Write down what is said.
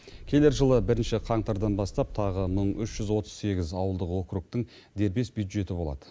келер жылы бірінші қаңтардан бастап тағы мың үш жүз отыз сегіз ауылдық округтің дербес бюджеті болады